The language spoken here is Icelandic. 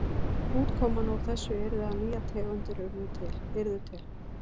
Útkoman úr þessu yrði að nýjar tegundir yrðu til.